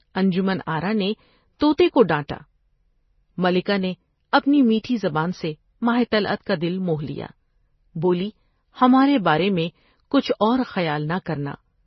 انجمن آرا نے تو تے کو ڈانٹا ، ملکہ نے اپنی میٹھی زبان سے ماوطلعت کا دل موولیا ، بولی '' ہمارے بارے میں کچھ اور خیال نہ کرنا ۔